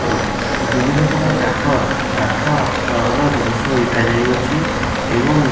ଆଉ ବିଭିନ୍ନ ପ୍ରକାରର କାଠ କାଠ ର ଜିନିଷ ବିକା ଯାଇଅଛି ଏବଂ --